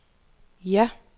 ja